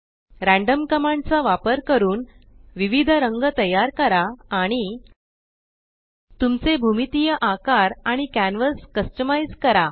random command चा वापर करून विविध रंग तयार करा आणि तुमचे भूमितीय आकार आणि कॅन्वस कस्टमाइज़ करा